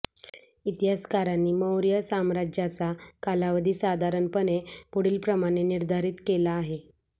इतिहासकारांनी मौर्य साम्राज्याचा कालावधी साधारणपणे पुढीलप्रमाणे निर्धारीत केला आहे